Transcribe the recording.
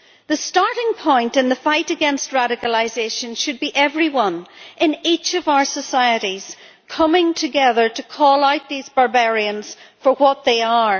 The starting point in the fight against radicalisation should be everyone, in each of our societies, coming together to call out these barbarians for what they are.